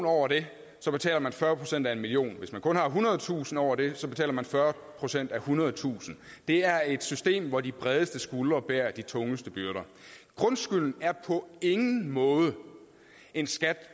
over det betaler man fyrre procent af en million kroner hvis man kun har ethundredetusind kroner over det betaler man fyrre procent af ethundredetusind det er et system hvor de bredeste skuldre bærer de tungeste byrder grundskylden er på ingen måde en skat